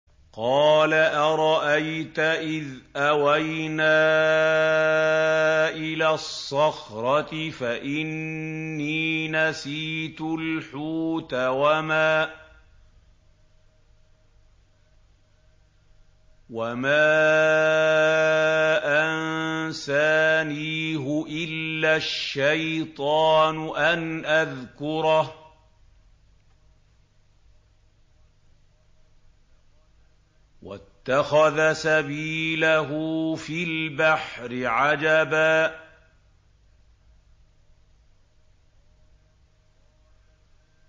قَالَ أَرَأَيْتَ إِذْ أَوَيْنَا إِلَى الصَّخْرَةِ فَإِنِّي نَسِيتُ الْحُوتَ وَمَا أَنسَانِيهُ إِلَّا الشَّيْطَانُ أَنْ أَذْكُرَهُ ۚ وَاتَّخَذَ سَبِيلَهُ فِي الْبَحْرِ عَجَبًا